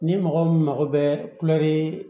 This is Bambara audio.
Ni mɔgɔ min mago bɛ kulo